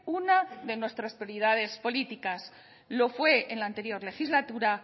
una de nuestras prioridades políticas lo fue en la anterior legislatura